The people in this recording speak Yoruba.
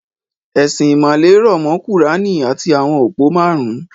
Ẹ̀sìn ìmàle rọ̀ mọ́ kùráánì àti àwọn òpó márùn-ún